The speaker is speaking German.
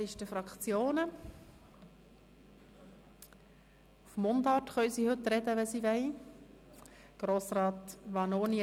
Man darf heute auch Mundart sprechen, wenn man will.